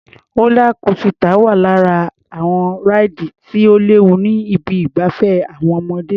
Rólá kosità wà lára àwọn ráìdì tí ò léwu ní ibi ìgbafẹ́ àwọn ọmọdé.